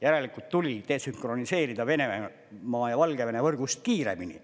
Järelikult tuli desünkroniseerida Venemaa ja Valgevene võrgust kiiremini.